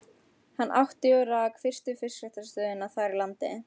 Hann átti og rak fyrstu fiskræktarstöðina þar í landi.